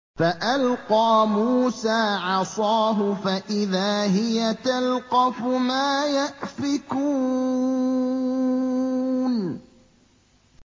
فَأَلْقَىٰ مُوسَىٰ عَصَاهُ فَإِذَا هِيَ تَلْقَفُ مَا يَأْفِكُونَ